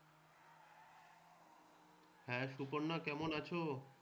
হ্যাঁ সুপর্ণা, কেমন আছ?